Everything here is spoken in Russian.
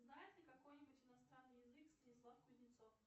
знает ли какой нибудь иностранный язык станислав кузнецов